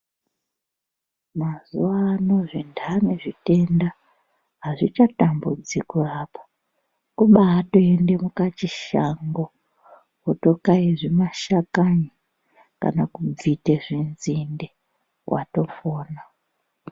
Mazuwano zvinhani zvitenda hazvichatambudzi kurapa. Kubatoende mukachishango wotokaya zvimashakani kana kubvite zvinzinde watopona.